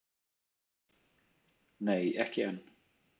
Nei ekki enn.